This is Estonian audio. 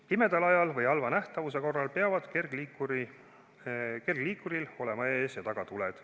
Pimeda ajal või halva nähtavuse korral peavad kergliikuril olema ees- ja tagatuled.